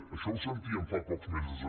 això ho sentíem fa pocs mesos